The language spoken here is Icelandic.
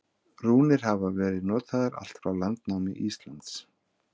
Rúnir hafa verið notaðar allt frá landnámi Íslands.